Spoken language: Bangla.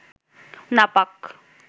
নাপাক